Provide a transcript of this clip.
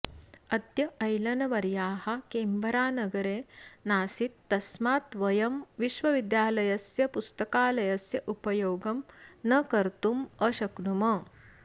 अद्य ऐलनवर्याः केन्बरानगरे नासीत् तस्मात् वयं विश्वविद्यालयस्य पुस्तकालयस्य उपयोगं न कर्तुम् अशक्नुम